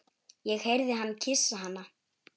Ég heyrði hann kyssa hana.